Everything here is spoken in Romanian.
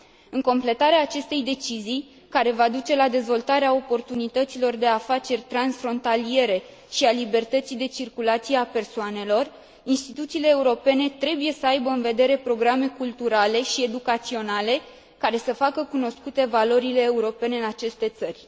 În completarea acestei decizii, care va duce la dezvoltarea oportunităților de afaceri transfrontaliere și a libertății de circulație a persoanelor, instituțiile europene trebuie să aibă în vedere programe culturale și educaționale care să facă cunoscute valorile europene în aceste țări.